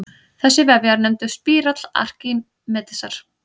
Þessi vefja er nefndur spírall Arkímedesar.